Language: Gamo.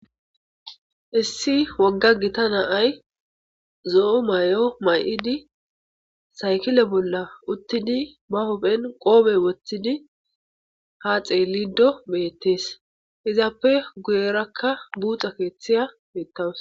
Issi wogga giita na'ay zo'o mayo mayidi sakille bolla uttidi ba huphphen qoppe woththidi ha xelido bettes izape guyeraka buuxxa keththey betawusu.